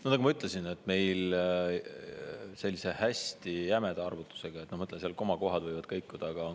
No nagu ma ütlesin, et meil on selline hästi jäme arvutus, ma mõtlen, et seal komakohad võivad kõikuda.